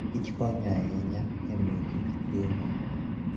Kich konyo ahinya e miyo Kich chiemo.